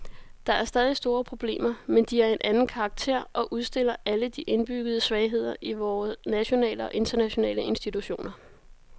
Der er stadig store problemer, men de er af en anden karakter og udstiller alle de indbyggede svagheder i vore nationale og internationale institutioner.